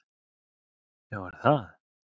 Já er það!